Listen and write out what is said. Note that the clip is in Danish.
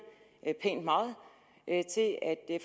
pænt meget til at